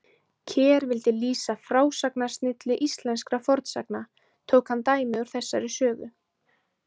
Ker vildi lýsa frásagnarsnilli íslenskra fornsagna, tók hann dæmi úr þessari sögu.